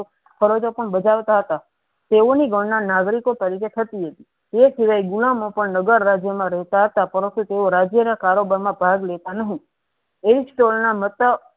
પણ બજાવતા હતા તેવો ની ગણના નાગરિકો તરીકે થથી હતી એ શિવાય ગુના મા પણ નાગર રાજ્યો મા રેહતા હતા પરંતુ એ રાજ્યો ના કારોબર મા ભાગ લેતા નહી એજ ટોલના મતા